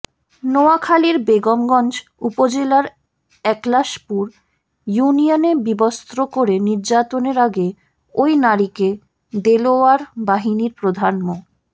নোয়াখালীর বেগমগঞ্জ উপজেলার একলাশপুর ইউনিয়নে বিবস্ত্র করে নির্যাতনের আগে ওই নারীকে দেলোয়ার বাহিনীর প্রধান মো